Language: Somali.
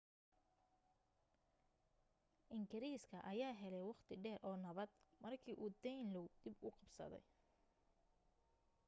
engiriiska ayaa helay waqti dheer oo nabad marka uu danelaw dib u qabsaday